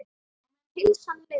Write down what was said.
Á meðan heilsan leyfði.